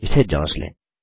इसे जाँच लें